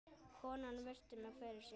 Konan virti mig fyrir sér.